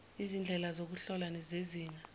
izindlela zokuhlola zezinga